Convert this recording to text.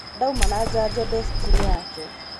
ndauma na janjo ndeciki-inĩ yake